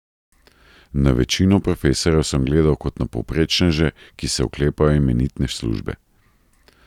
Na večino profesorjev sem gledal kot na povprečneže, ki se oklepajo imenitne službe.